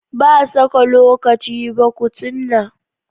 Ba saka lokaci ba kutunna